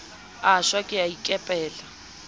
a shwa ke a ikepela